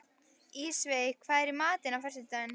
Ísveig, hvað er í matinn á föstudaginn?